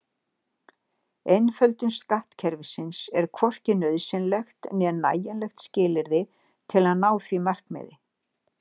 Einföldun skattkerfisins er hvorki nauðsynlegt né nægjanlegt skilyrði til að ná því markmiði.